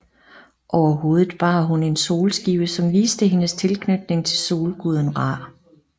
Over hovedet bar hun en solskive som viste hendes tilknytning til solguden Ra